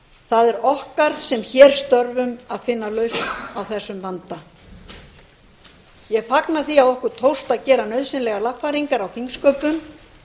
það er okkar sem hér störfum að finna lausn á þessum vanda ég fagna því að okkur tókst að gera nauðsynlegar lagfæringar á þingsköpum